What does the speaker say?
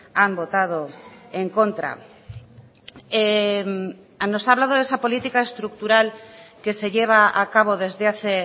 han votado en contra nos ha hablado de esa política estructural que se lleva a cabo desde hace